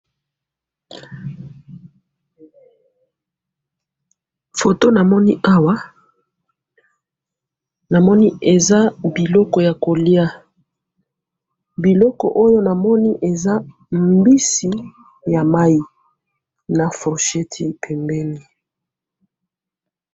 photo na moni awa na moni eza biloko ya kolya biloko oyo na moni eza mbisi ya mayi na forchette mpembeni